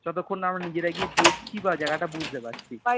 যতক্ষণ না আমরা নিজেরা গিয়ে দেখছি বা জায়গাটা বুঝতে পারছি